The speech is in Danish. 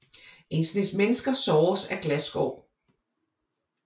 En snes mennesker såres af glasskår